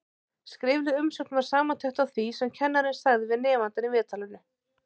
Skrifleg umsögn var samantekt á því sem kennarinn sagði við nemandann í viðtalinu.